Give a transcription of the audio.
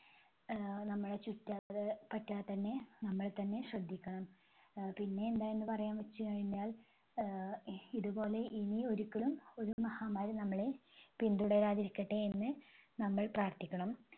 ആഹ് നമ്മളെ ചുറ്റാത്താ പറ്റാതന്നെ നമ്മൾ തന്നെ ശ്രദ്ധിക്കണം. അഹ് പിന്നെ എന്താ എന്ന് പറയാന്നുവെച്ചുകഴിഞ്ഞാൽ ആഹ് ഇതുപോലെ ഇനി ഒരിക്കലും ഒരു മഹാമാരി നമ്മളെ പിന്തുടരാതിരിക്കട്ടെ എന്ന് നമ്മൾ പ്രാർത്ഥിക്കണം.